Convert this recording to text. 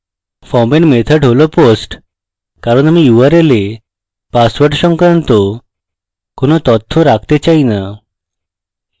ফর্মের method হল post কারণ আমি url we পাসওয়ার্ড সংক্রান্ত কোনো তথ্য রাখতে চাই the